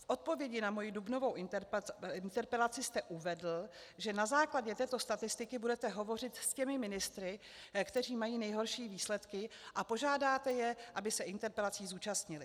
V odpovědi na moji dubnovou interpelaci jste uvedl, že na základě této statistiky budete hovořit s těmi ministry, kteří mají nejhorší výsledky, a požádáte je, aby se interpelací zúčastnili.